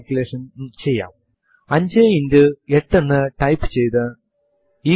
prompt ൽ echo space dollar shell എന്ന് ക്യാപ്പിറ്റലിൽ ടൈപ്പ് ചെയ്തു എന്റർ അമർത്തുക